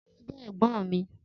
Taye jé ègbón mi